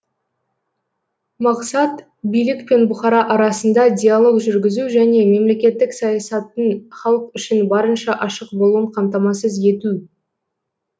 мақсат билік пен бұқара арасында диалог жүргізу және мемлекеттік саясаттың халық үшін барынша ашық болуын қамтамасыз ету